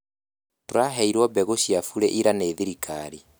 Tũraheirwo mbegũ cia bure ira nĩ thirikari